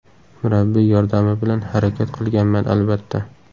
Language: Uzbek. Murabbiy yordami bilan harakat qilganman, albatta.